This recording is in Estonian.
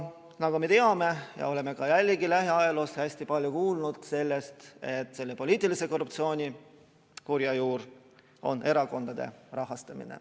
Nagu me teame ja oleme jällegi lähiajaloos hästi palju kuulnud, on poliitilise korruptsiooni kurja juur erakondade rahastamine.